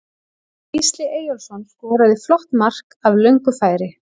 Gísli Eyjólfsson skoraði flott mark af löngu færi.